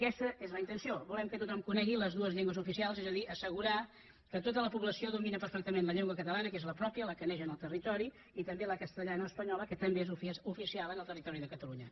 aquesta és la intenció volem que tothom conegui les dues llengües oficials és a dir assegurar que tota la població domina perfectament la llengua catalana que és la pròpia la que neix en el territori i també la castellana o espanyola que també és oficial en el territori de catalunya